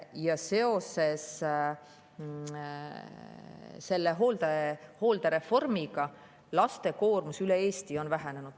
Aga seoses hooldereformiga on laste koormus üle Eesti vähenenud.